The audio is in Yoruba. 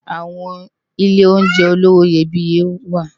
Awòn ilé óunjè ólowò iyébìyé wá